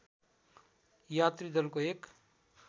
यात्री दलको एक